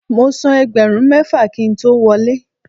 Mo san ẹgbẹ̀rún mẹ́fà kí n tó wọlé.